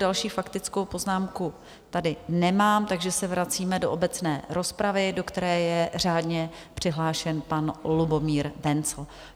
Další faktickou poznámku tady nemám, takže se vracíme do obecné rozpravy, do které je řádně přihlášen pan Lubomír Wenzl.